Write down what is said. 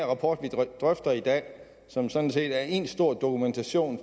rapport vi drøfter i dag som sådan set er én stor dokumentation